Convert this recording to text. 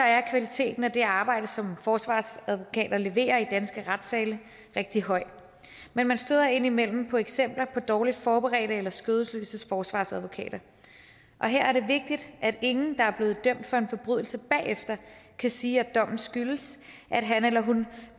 er kvaliteten af det arbejde som forsvarsadvokater leverer i danske retssale rigtig høj men man støder indimellem på eksempler på dårligt forberedte eller skødesløse forsvarsadvokater her er det vigtigt at ingen der blevet dømt for en forbrydelse bagefter kan sige at dommen skyldes at han eller hun